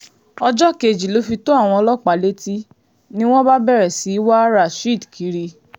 ọjọ́ kejì ló fi tó àwọn ọlọ́pàá létí ni wọ́n bá bẹ̀rẹ̀ sí í wá rasheed kiri